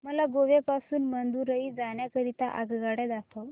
मला गोवा पासून मदुरई जाण्या करीता आगगाड्या दाखवा